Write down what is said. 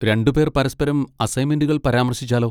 രണ്ടുപേർ പരസ്പരം അസൈൻമെന്റുകൾ പരാമർശിച്ചാലോ?